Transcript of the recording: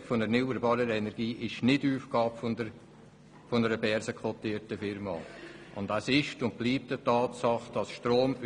Die Förderung der erneuerbaren Energie ist nicht Aufgabe einer börsenkotierten Unternehmung.